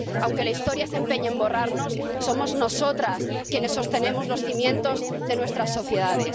Aunque la historia se empeñe en borrarnos, somos nosotras quienes sostenemos los cimientos de nuestras sociedades.